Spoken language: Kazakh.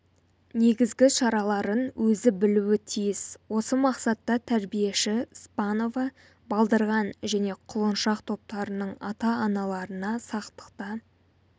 негізгі шараларын өзі білуі тиіс осы мақсатта тәрбиеші спанова балдырған және құлыншақ топтарының ата-аналарына сақтықта